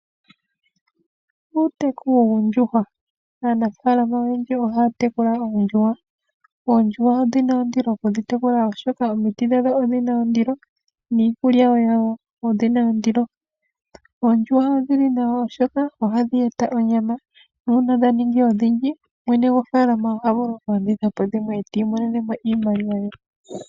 Uuteku woondjuhwa. Aanafaalama oyendji ohaa tekula oondjuhwa. Oondjuhwa odhi na ondilo okudhi tekula, oshoka omiti dhadho odhi na ondilo niikulya yadho oyi na ondilo. Oondjuhwa odhi li nawa, oshoka ohadhi gandja onyama nuuna dha ningi odhindji, mwene gofaalama oha vulu okulanditha po dhimwe, e ta imonene iimaliwa.